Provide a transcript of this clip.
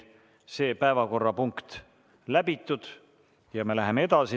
See päevakorrapunkt on läbitud ja me läheme edasi.